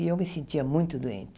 E eu me sentia muito doente.